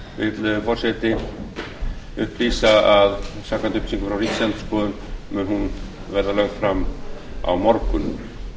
þjórsár vill forseti upplýsa að samkvæmt upplýsingum frá ríkisendurskoðun mun hún verða lögð fram á morgun